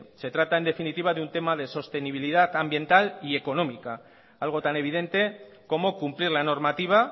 se trata en definitiva de un tema de sostenibilidad ambientar y económica algo tan evidente como cumplir la normativa